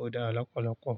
ó dára lọ́pọ̀lọ́pọ̀.